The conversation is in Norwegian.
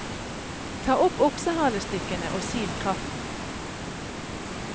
Ta opp oksehalestykkene og sil kraften.